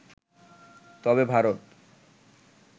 তবে ভারত